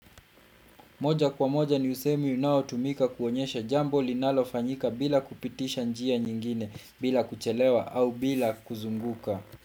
Moja kwa moja ni usemi unaotumika kuonyesha jambo linalofanyika bila kupitisha njia nyingine bila kuchelewa au bila kuzunguka.